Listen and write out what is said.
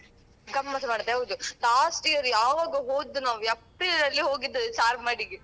ಗಮ್ಮತ್ ಮಾಡದೆ ಹೌದು last year ಯಾವಾಗ ಹೋದ್ದು ನಾವು ಏಪ್ರಿಲಲ್ಲಿ ಹೋಗಿದ್ದು ಚಾರ್ಮಾಡಿಗೆ.